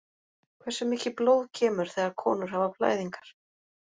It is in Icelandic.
Hversu mikið blóð kemur þegar konur hafa blæðingar?